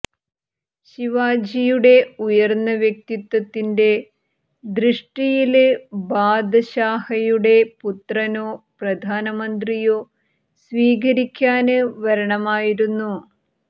ശിവാജിയുടെ ഉയര്ന്ന വ്യക്തിത്വത്തിന്റെ ദൃഷ്ടിയില് ബാദശാഹയുടെ പുത്രനോ പ്രധാനമന്ത്രിയോ സ്വീകരിക്കാന് വരണമായിരുന്നു